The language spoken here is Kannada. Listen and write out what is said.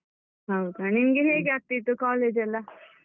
ಹೌದಾ, ನಿಮ್ಗೆ ಹೇಗೆ ಆಗ್ತಿತ್ತು college ಎಲ್ಲ?